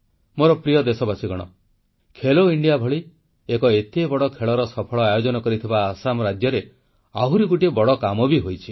ମୋର ପ୍ରିୟ ଦେଶବାସୀଗଣ ଖେଲୋ ଇଣ୍ଡିଆ ଭଳି ଏକ ଏତେ ବଡ଼ ଖେଳର ସଫଳ ଆୟୋଜନ କରିଥିବା ଆସାମ ରାଜ୍ୟରେ ଆହୁରି ଗୋଟିଏ ବଡ଼ କାମ ବି ହୋଇଛି